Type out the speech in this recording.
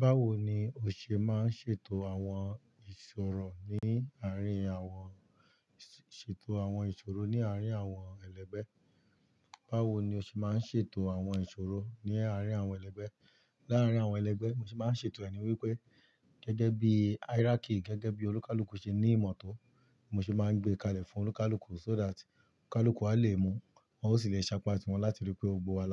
Báwo ni o ṣe máa ń ṣètò àwọn ìṣòro ní àárín àwọn ṣètò àwọn ìṣòro ní àárín àwọn ẹlẹgbẹ́? Báwo ni o ṣe máa ń ṣètò àwọn ìṣòro ní àárín àwọn ẹlẹgbẹ́? Láàárín àwọn ẹlẹgbẹ́, mo sì máa ń ṣètò ẹni wípé gẹ́gẹ́ bí hierarchy gẹ́gẹ́ bí olùkálùkù ṣe ní ìmọ̀ tó, mo sì máa ń gbé kalẹ̀ fún olùkálùkù so that olùkálùkù a lè mọ̀, wọn ó sì le ṣàpáti wọn láti ríi pé ó bu wa